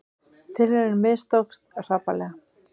Tilraunin mistókst hrapalega